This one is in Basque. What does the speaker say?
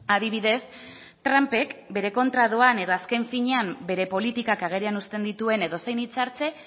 adibidez trumpek bere kontra doan edo azken finean bere politikak agerian uzten dituen edozein hitzartze